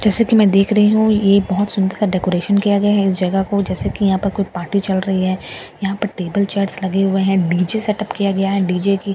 जैसे कि मैं देख रही हूं ये बहुत सुंदर सा डेकोरेशन किया गया है इस जगह को जैसे कि यहां पर कोई पार्टी चल रही है यहां पर टेबल चेयर्स लगे हुए है डीजे सेटअप किया गया है डीजे की स्पीकर्स रखे हुए --